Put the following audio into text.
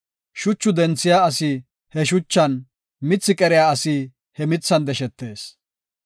Shuchu denthiya asi he shuchan, mithi qeriya asi he mithan deshetees.